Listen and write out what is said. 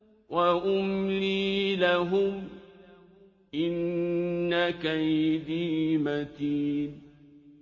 وَأُمْلِي لَهُمْ ۚ إِنَّ كَيْدِي مَتِينٌ